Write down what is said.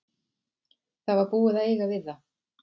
Það var búið að eiga við það.